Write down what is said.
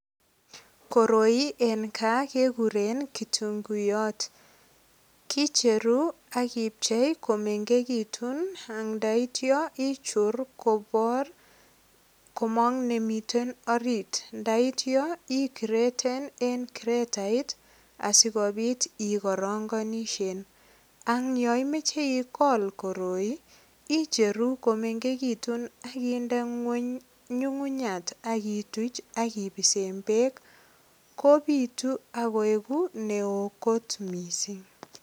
Koroien kaa keguren kitunguyot. Kicheru ak ipchei komengegitun ak ndaitya ichur kobor komong nemiten orit. Ndaityo ikreten en kretait asigopit ikorongonishien. Ak yo imoche igol koroi, icheru komengegitun ak inde ngweny nyungunyat ak ituch ak ipisen beek. Kopitu ak keugu neo kot mising.